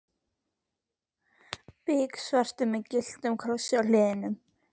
Biksvartur með gylltum krossi á hliðunum.